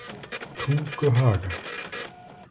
Tunguhaga